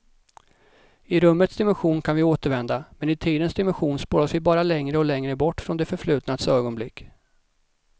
I rummets dimension kan vi återvända, men i tidens dimension spolas vi bara längre och längre bort från det förflutnas ögonblick.